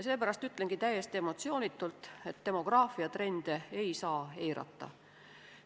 Seepärast ütlengi täiesti emotsioonitult, et demograafiatrende ei saa eirata.